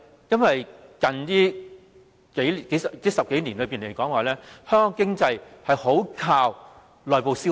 因為在最近10多年來，香港經濟非常依靠內部消費。